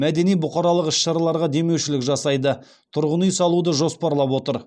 мәдени бұқаралық іс шараларға демеушілік жасайды тұрғын үй салуды жоспарлап отыр